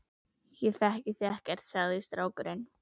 Ég þekki þig ekkert, sagði strákurinn.